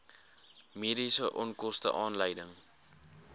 mediese onkoste aanleiding